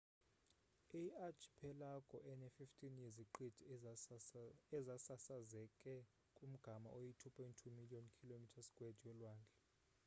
iyi archipelago ene-15 yeziqithi ezisasazeke kumgama oyi-2.2 million km2 yolwandle